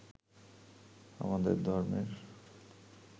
আমাদের ধর্মের